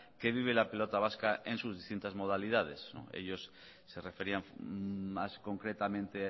que vive la pelota vasca en sus distintas modalidades ellos se referían más concretamente